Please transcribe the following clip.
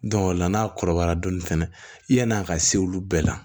o la n'a kɔrɔbayara dɔɔnin fɛnɛ yan'a ka se olu bɛɛ la